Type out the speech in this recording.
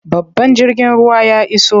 Babban jirgin ruwan ya iso.